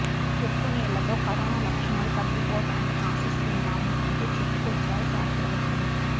ఉప్పు నీళ్లతో కరోనా లక్షణాలు తగ్గిపోతాయని ఆశిస్తున్నాము అంటూ చెప్పుకొచ్చారు శాస్త్రవేత్తలు